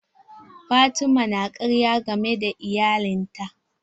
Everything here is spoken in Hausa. Fatima ta na karya game da iyalin ta.